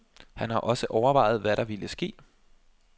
Han har også overvejet, hvad der ville ske.